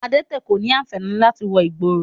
Adẹ́tẹ̀ kò ní ànfàní láti wọ ìgboro